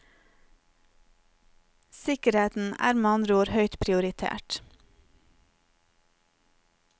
Sikkerheten er med andre ord høyt prioritert.